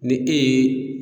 Ni e ye